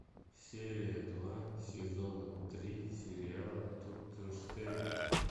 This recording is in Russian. серия два сезона три сериала тутенштейн